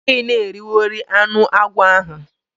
O gaghi na eriwori anu akwo ahu.